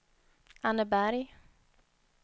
Anneberg